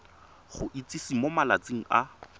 go itsise mo malatsing a